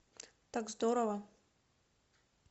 так здорово